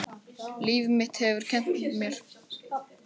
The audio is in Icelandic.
Líf mitt hefur kennt mér.